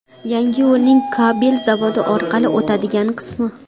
Yangi yo‘lning Kabel zavodi orqali o‘tadigan qismi.